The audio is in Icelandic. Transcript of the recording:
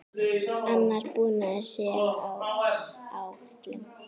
Annar búnaður sé á áætlun.